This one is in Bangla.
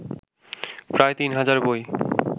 প্রায় তিন হাজার বই